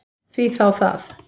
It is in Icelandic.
Því þá það?